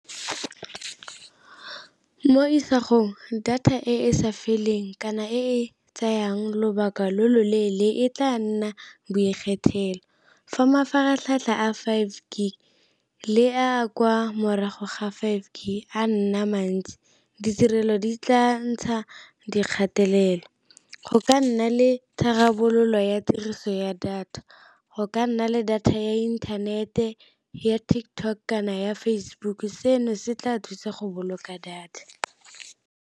Mo isagong data e e sa feleng kana e e tsayang lobaka lo lo leele e tla nna fa mafaratlhatlha a five le a kwa morago ga five a nna mantsi, ditirelo di tla ntsha dikgatelelo. Go ka nna le tharabololo ya tiriso ya data go ka nna le data ya internet-e, ya TikTok kana ya Facebook seno se tla thusa go boloka data.